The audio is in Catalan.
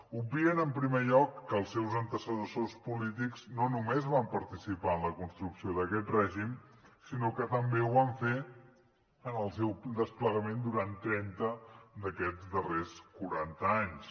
obvien en primer lloc que els seus antecessors polítics no només van participar en la construcció d’aquest règim sinó que també ho van fer en el seu desplegament durant trenta d’aquests darrers quaranta anys